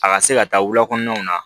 A ka se ka taa wulakɔnɔnaw na